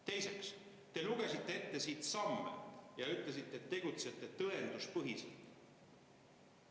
Teiseks, te lugesite siin ette mingeid samme ja ütlesite, et tegutsete tõenduspõhiselt.